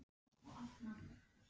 Mun hann spila mikið í sumar?